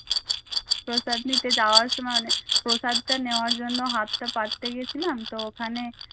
প্রসাদ নিতে যাওয়ার সময় অনেক প্রসাদটা নেওয়ার জন্য হাতটা পাততে গেছিলাম তো ওখানে